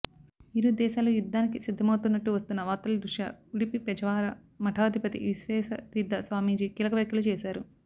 ఇరు దేశాలు యుద్ధానికి సిద్ధమవుతున్నట్టు వస్తున్న వార్తల దృష్ట్యా ఉడుపి పెజావర మఠాధిపతి విశ్వేశతీర్థ స్వామీజీ కీలక వ్యాఖ్యలు చేశారు